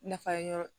Nafa ɲaa